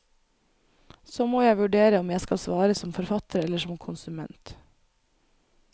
Så må jeg vurdere om jeg skal svare som forfatter eller som konsument.